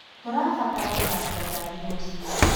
Tũrabatara gũthambia ngari rũciũ.